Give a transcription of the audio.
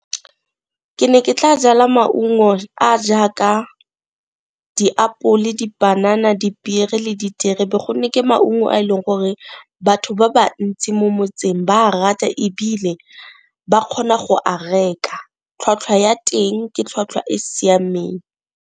Ke ne ke tla jala maungo a jaaka diapole, dipanana, dipiere le diterebe gonne ke maungo a e leng gore batho ba bantsi mo motseng ba a rata, ebile ba kgona go a reka, tlhwatlhwa ya teng ke tlhwatlhwa e siameng.